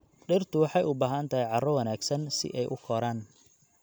Dhirtu waxay u baahan tahay carro wanaagsan si ay u koraan.